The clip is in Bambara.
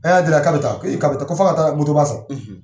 ka bɛ taa ko i ko f'a ka taga moto ba san.